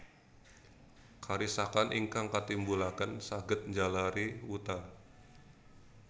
Karisakan ingkang katimbulaken saged njalari wuta